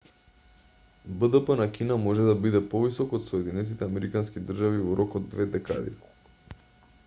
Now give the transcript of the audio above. бдп на кина може да биде повисок од соединетите американски држави во рок од две декади